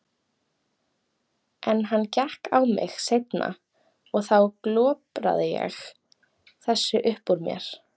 En hann gekk á mig seinna og þá glopraði ég þessu upp úr mér.